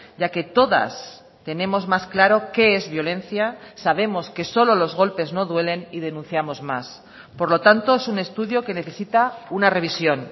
ya que todas tenemos más claro qué es violencia sabemos que solo los golpes no duelen y denunciamos más por lo tanto es un estudio que necesita una revisión